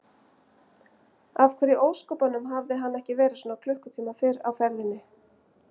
Af hverju í ósköpunum hafði hann ekki verið svona klukkutíma fyrr á ferðinni?